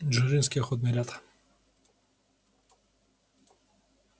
дзержинской охотный ряд